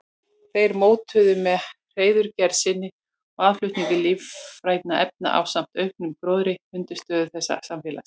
Þeir mótuðu með hreiðurgerð sinni og aðflutningi lífrænna efna ásamt auknum gróðri undirstöðu þessa samfélags.